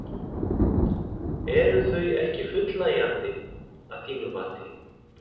Eru þau ekki fullnægjandi að þínu mati?